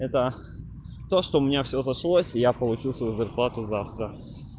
это то что у меня все сошлось и я получу свою зарплату завтра